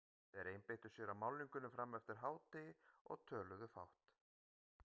Þeir einbeittu sér að málningunni fram eftir degi og töluðu fátt.